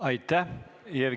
Aitäh!